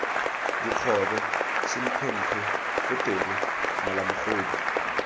dikgobe semphemphe potele mala mogodu